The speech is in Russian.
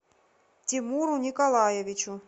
тимуру николаевичу